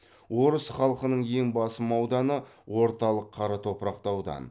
орыс халқының ең басым ауданы орталық қара топырақты аудан